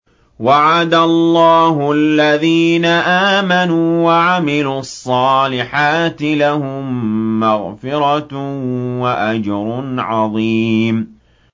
وَعَدَ اللَّهُ الَّذِينَ آمَنُوا وَعَمِلُوا الصَّالِحَاتِ ۙ لَهُم مَّغْفِرَةٌ وَأَجْرٌ عَظِيمٌ